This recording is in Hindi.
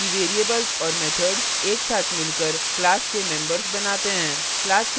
हम जानते हैं कि variables और methods एक साथ मिलकर class के members बनाते हैं